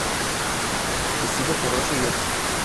спасибо хороший люкс